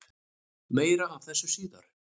Meira af þessu síðar.